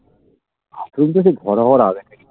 ভরা ভরা